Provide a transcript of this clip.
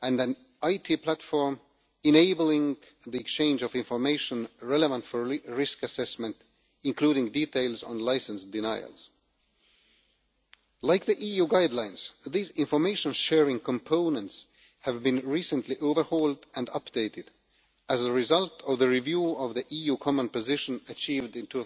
and an IT platform enabling the exchange of information relevant for risk assessment, including details on license denials. Like the EU guidelines, these information sharing components have been recently overhauled and updated as a result of the review of the EU common position achieved in